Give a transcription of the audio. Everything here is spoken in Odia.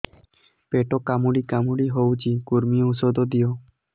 ପେଟ କାମୁଡି କାମୁଡି ହଉଚି କୂର୍ମୀ ଔଷଧ ଦିଅ